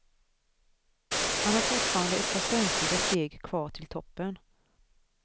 Han har fortfarande ett par spänstiga steg kvar till toppen.